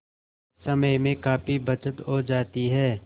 समय में काफी बचत हो जाती है